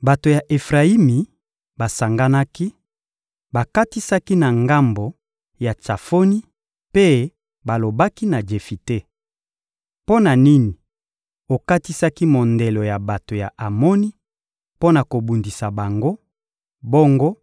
Bato ya Efrayimi basanganaki, bakatisaki na ngambo ya Tsafoni mpe balobaki na Jefite: — Mpo na nini okatisaki mondelo ya bato ya Amoni mpo na kobundisa bango, bongo